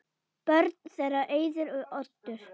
Börn þeirra: Auður og Oddur.